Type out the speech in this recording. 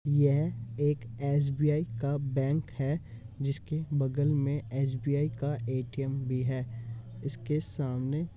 यह एक एसबीआई का बैंक है जिसके बगल मे एसबीआई का एटीएम भी है इसके सामने --